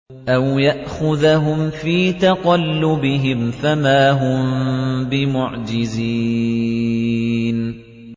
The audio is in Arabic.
أَوْ يَأْخُذَهُمْ فِي تَقَلُّبِهِمْ فَمَا هُم بِمُعْجِزِينَ